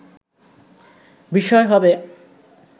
বিষয় হবে”